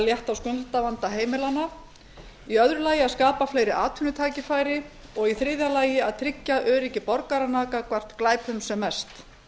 létta á skuldavanda heimilanna í öðru lagi að skapa fleiri atvinnutækifæri og í þriðja lagi að tryggja öryggi borgaranna gagnvart glæpum sem mest